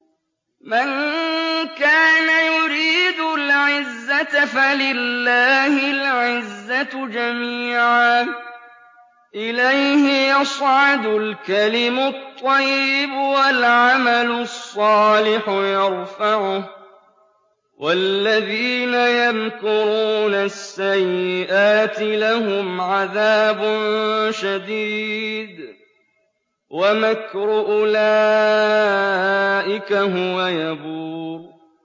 مَن كَانَ يُرِيدُ الْعِزَّةَ فَلِلَّهِ الْعِزَّةُ جَمِيعًا ۚ إِلَيْهِ يَصْعَدُ الْكَلِمُ الطَّيِّبُ وَالْعَمَلُ الصَّالِحُ يَرْفَعُهُ ۚ وَالَّذِينَ يَمْكُرُونَ السَّيِّئَاتِ لَهُمْ عَذَابٌ شَدِيدٌ ۖ وَمَكْرُ أُولَٰئِكَ هُوَ يَبُورُ